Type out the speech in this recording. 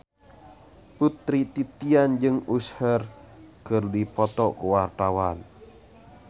Putri Titian jeung Usher keur dipoto ku wartawan